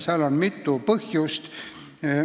Seal on mitu põhjust.